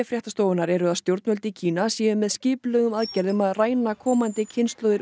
fréttastofunnar eru að stjórnvöld í Kína séu með skipulögðum aðgerðum að ræna komandi kynslóðir